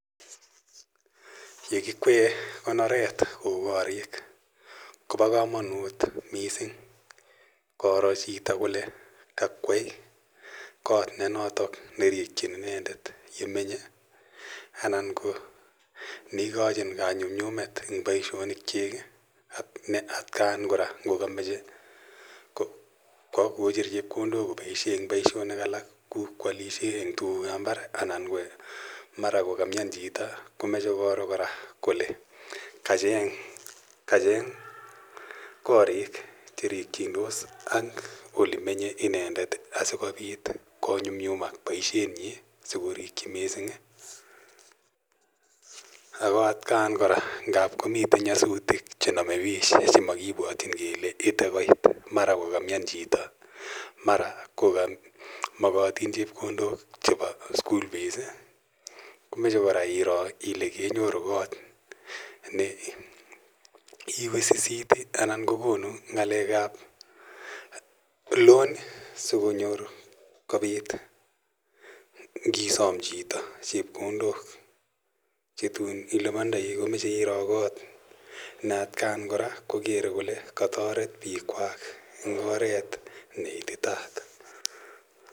ye kikwee konoret kou korik ko pa kamanut missing' kora chito kole kakwei kot ne notok ne rikchin inendet ye menye anan ko ne ikachin kanyumnyumet en poishonik chik atian kora, ngo kamache kowa kocher chepkondok kopaishe eng' poishonikmalak kou koalishe en tuguk ap imbar anan mara kokamian chito ko mache koro kora kole kacheng' koriik che rikchindos ak ole menye inedet asikopit konyumnyumak poishenyi, asikorikchi missing'. Ako atian kora ko ngap komi nyasutik che name piich che makipwatchin kole ite koit, mara ko kamian chito. Mara ko kamakatin chepkondok chepo school fees, komache kora iro ile kenyoru kot amu iwisisiti ana kokonu ng'alek ap loan asikopit ngisam chito cheokondok che tun ilipandai ko mache iro kot ne atkan kora kokere kole kataret piikwak en oret ne ititaat.